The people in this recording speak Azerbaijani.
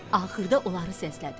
Axırda onları səslədi.